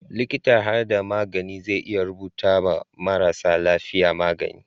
Liƙitan harhada magani zai iya rubuta ma marasa lafiya magani